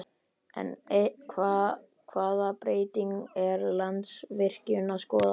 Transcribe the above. En hvaða breytingar er Landsvirkjun að skoða?